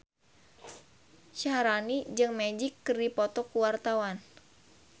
Syaharani jeung Magic keur dipoto ku wartawan